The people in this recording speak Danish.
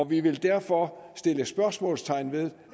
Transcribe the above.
vi vil derfor sætte spørgsmålstegn ved